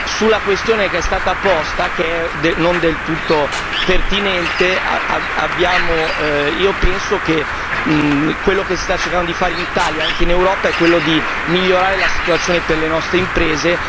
Sulla questione che è stata posta, non del tutto pertinente, io penso che quello che si sta cercando di fare in Italia, anche in Europa è quello di migliorare la situazione per le nostre imprese.